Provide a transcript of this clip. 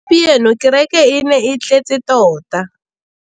Gompieno kêrêkê e ne e tletse tota.